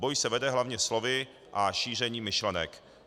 Boj se vede hlavně slovy a šířením myšlenek.